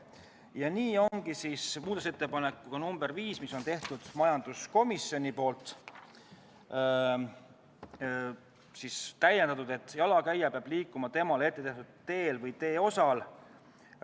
Ja nii ongi muudatusettepanekuga nr 5, mille on teinud majanduskomisjon, esitatud täiendus: "Jalakäija peab liikuma temale ettenähtud teel või teeosal.